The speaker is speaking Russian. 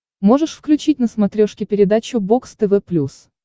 можешь включить на смотрешке передачу бокс тв плюс